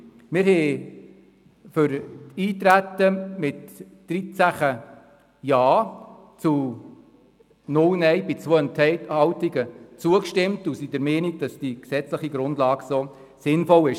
Wir haben dem Eintreten mit 13 Ja zu 0 Nein bei 2 Enthaltungen zugestimmt und sind der Meinung, dass eine gesetzliche Grundlage in dieser Form sinnvoll ist.